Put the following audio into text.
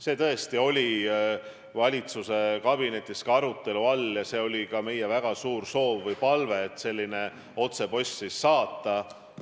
See tõesti oli ka valitsuskabinetis arutelu all ja see oli ka meie väga suur soov, et selline otsepostitus teha.